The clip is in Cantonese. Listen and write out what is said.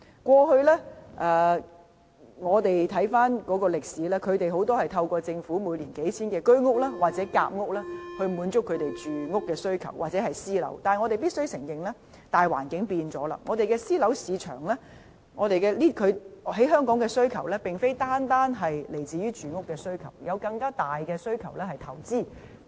回看歷史，他們的住屋需求大多透過政府每年興建的數千個居屋和夾屋單位，以及私樓來滿足，但我們必須承認，大環境已改變，香港私樓市場的需求不僅來自住屋需求，還有在投資方面的更大需求。